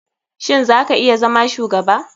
Shin za ka iya zama shugaba?